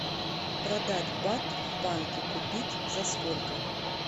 продать бат в банке купить за сколько